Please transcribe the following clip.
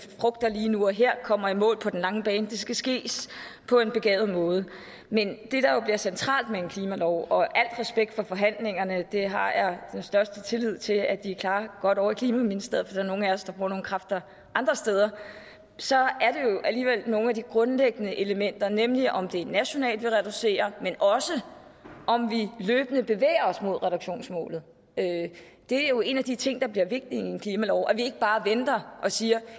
frugter lige nu og her kommer i mål på den lange bane for det skal ske på en begavet måde men det der jo bliver centralt med en klimalov og al respekt for forhandlingerne dem har jeg den største tillid til at de klarer godt ovre i klimaministeriet er nogle af os der bruger nogle kræfter andre steder er alligevel nogle af de grundlæggende elementer nemlig om det er nationalt vi reducerer men også om vi løbende bevæger os mod reduktionsmålet det er jo en af de ting der bliver vigtige i en klimalov altså at vi ikke bare venter og siger